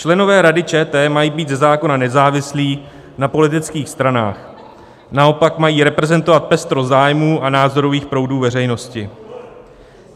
Členové Rady ČT mají být ze zákona nezávislí na politických stranách, naopak mají reprezentovat pestrost zájmů a názorových proudů veřejnosti.